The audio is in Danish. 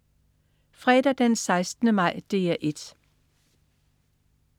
Fredag den 16. maj - DR 1: